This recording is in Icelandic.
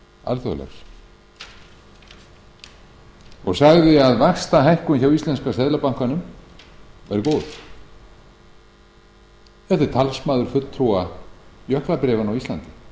alþjóðlegs og sagði að vaxtahækkun hjá íslenska seðlabankanum væri góð þetta er talsmaður fulltrúa j jöklabréfanna á íslandi þetta er